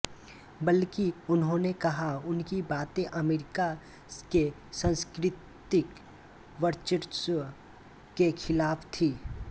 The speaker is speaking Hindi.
बल्कि उन्होंने कहा उनकी बाते अमेरिका के सांस्कृतिक वर्चस्व के खिलाफ थी